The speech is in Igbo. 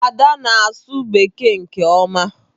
Ada na-asụ bekee nke ọma.